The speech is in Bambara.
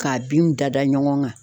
K'a binw da da ɲɔgɔn kan.